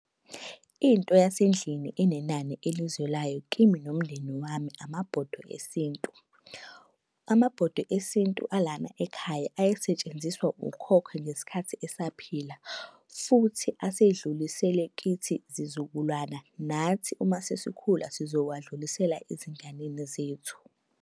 Into yasendlini enenani elizwelayo kimi nomndeni wami, amabhodwe esintu. Amabhodwe esintu alana ekhaya ayesetshenziswa ukhokho ngesikhathi esaphila. Futhi asedlulisele kithi zizukulwana nathi uma sasikhula sizowadlulisela ezinganeni zethu.